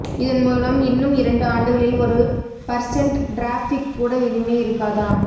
இதன் மூலம் இன்னும் இரண்டு ஆண்டுகளில் ஒரு பர்சென்ட் டிராஃபிக் கூட இனிமே இருக்காதாம்